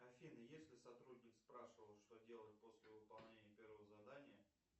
афина если сотрудник спрашивал что делать после выполнения первого задания